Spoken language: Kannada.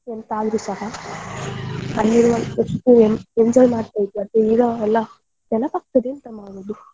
ಎಂತಾದ್ರೂಸ ಅಲ್ಲಿರುವಷ್ಟು enjoy ಮಾಡ್ತಾ ಇದದ್ದು ಈಗ ಎಲ್ಲ ನೆನಪಾಗ್ತದೆ ಎಂತ ಮಾಡುದು.